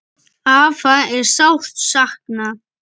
Afa er sárt saknað.